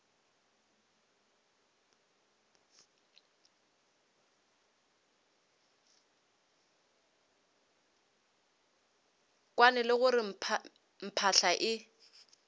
kwane le gore phahla e